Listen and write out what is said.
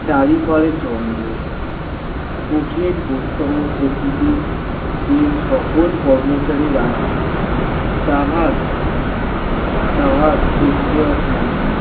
চারি পারে জঙ্গল, কঠিন প্রকৃতি যে সকল কর্মচারী রাজনীতি তাহার, তাহার খোঁজখবর নাই।